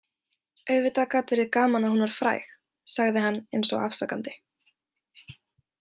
Auðvitað gat verið gaman að hún var fræg, sagði hann eins og afsakandi.